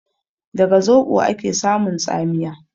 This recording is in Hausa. Daga zoɓo ake samun tsamiya?